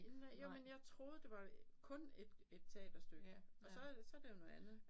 Nej jo men jeg troede det var kun et et teaterstykke og så så det jo noget andet